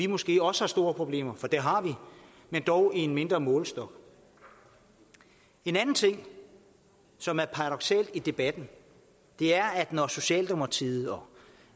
måske også store problemer det har vi men dog i mindre målestok en anden ting som er paradoksal i debatten er når socialdemokratiet